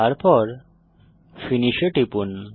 তারপর ফিনিশ এ টিপুন